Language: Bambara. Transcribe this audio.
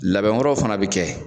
Labɛn wɛrɛ fana be kɛ